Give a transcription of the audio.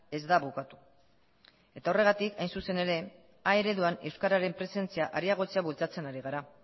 ez da bukatu eta horregatik hain zuzen ere a ereduan euskararen presentzia areagotzea bultzatzen ari gara